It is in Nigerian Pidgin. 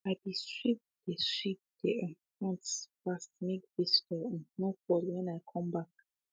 i be sweep de sweep de um front fast make visitor um no fall when i come back